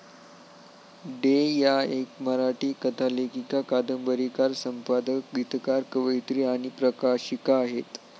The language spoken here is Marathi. डे या एक मराठी कथालेखिका, कादंबरीकार, संपादक, गीतकार, कवयित्री आणि प्रकाशिका आहेत.